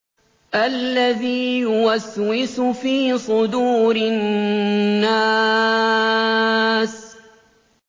الَّذِي يُوَسْوِسُ فِي صُدُورِ النَّاسِ